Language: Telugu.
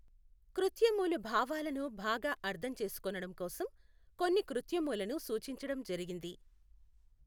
కృత్యమూలు భావాలను బాగా అర్థం చేసికొనడం కోసం కొన్ని కృత్యమూలను సూచించడం జరిగింది.